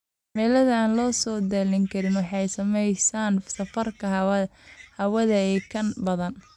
Cimilada aan la saadaalin karin waxay saameyneysaa safarka hawada iyo kan badda.